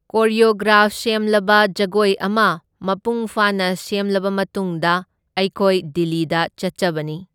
Choreograph ꯁꯦꯝꯂꯒ ꯖꯒꯣꯏ ꯑꯃ ꯃꯄꯨꯡ ꯐꯥꯅ ꯁꯦꯝꯂꯕ ꯃꯇꯨꯡꯗ ꯑꯩꯈꯣꯏ ꯗꯤꯜꯂꯤꯗ ꯆꯠꯆꯕꯅꯤ꯫